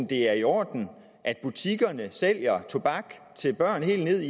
det er i orden at butikkerne sælger tobak til børn helt ned